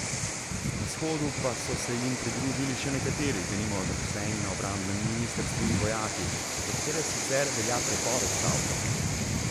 Na shodu pa so se jim pridružili še nekateri, denimo zaposleni na obrambnem ministrstvu in vojaki, za katere sicer velja prepoved stavke.